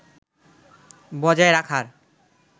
বজায় রাখার